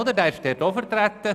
Er ist dort auch vertreten.